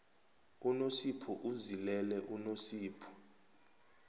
unosipho uzilele usosipho